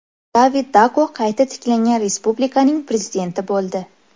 David Dako qayta tiklangan respublikaning prezidenti bo‘ldi.